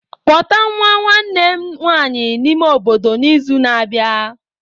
Kpọta nwa nwanne m nwanyị n'ime obodo n'izu na-abịa.